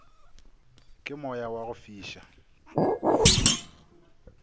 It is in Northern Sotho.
ke moya wa go fiša